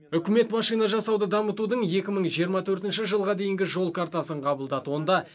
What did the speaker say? үкімет машина жасауды дамытудың екі мың жиырма төртінші жылға дейінгі жол картасын қабылдады